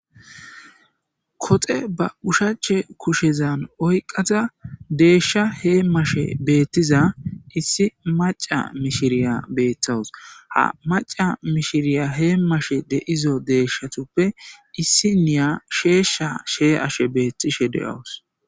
koxe ba ushache kushezan oyqada deeshsha heemashe beettiza issi maca mishiriya beettawus ha maca mishiriya hee mashe deizo deeshshatuppe issi niya sheeshsha shee ashe beettishe de7awus